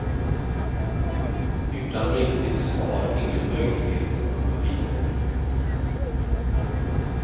Utan riktigt svar ingen möjlighet att komma vidare.